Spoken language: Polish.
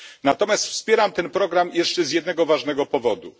Natomiast wspieram ten program jeszcze z jednego ważnego powodu.